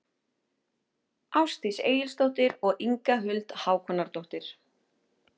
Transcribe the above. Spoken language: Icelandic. Ásdís Egilsdóttir og Inga Huld Hákonardóttir.